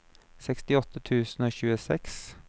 sekstiåtte tusen og tjueseks